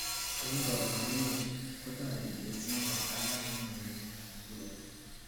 en kaborunet, kotoreti pacemaker alak en uinwek ab muguleldo